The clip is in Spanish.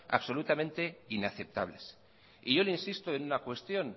absolutamente inaceptables y yo le insisto en una cuestión